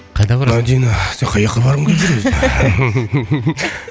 қайда барасың мадина сен қаяққа барғың келіп жүр өзі